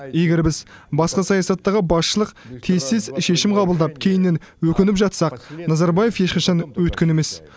егер біз басқа саясаттағы басшылық тез тез шешім қабылдап кейіннен өкініп жатсақ назарбаев ешқашан өйткен емес